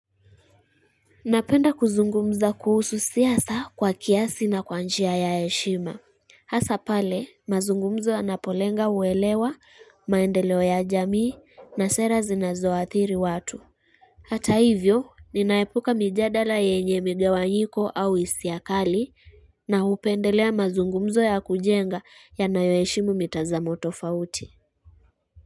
Napenda kuzungumza kuhusu siasa kwa kiasi na kwa njia ya eshima. Hasapale, mazungumzo yanapolenga uwelewa, maendeleo ya jamii, na sera zinazo atiri watu. Hata hivyo, ninaepuka mjadala yenye mgewanyiko au isiakali, na hupendelea mazungumzo ya kujenga ya nayo eshimu mitazamo tofauti.